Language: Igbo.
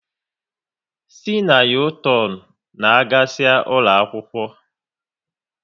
Si na u-turn n'agasia ụlọakwụkwọ